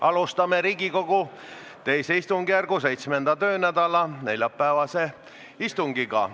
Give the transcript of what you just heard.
Alustame Riigikogu II istungjärgu 7. töönädala neljapäevast istungit.